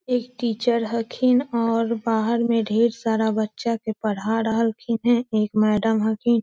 एक टीचर हकिन और बाहर मै ढेर सारा बच्चा के पढ़ा रहल खिन हें | एक मैडम हखि --